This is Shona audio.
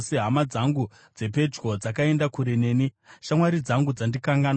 Hama dzangu dzepedyo dzakaenda kure neni; shamwari dzangu dzandikanganwa.